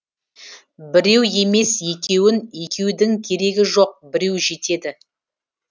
біреу емес екеуін екеудің керегі жоқ біреу жетеді